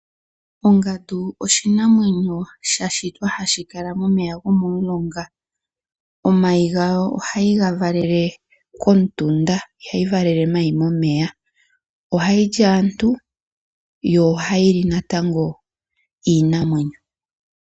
Ongandu oshinamwenyo sha shitwa hashi kala momeya go momulonga. Omayi ga go ohayi ga valele komutunda, ihayi valele omayi momeya. Ohayi li aantu, yo ohayi li natango iinamwenyo.